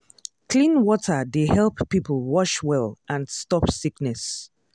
clean water dey help people wash well and stop sickness.